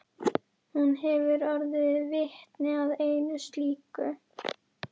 Hún hefur orðið vitni að einu slíku.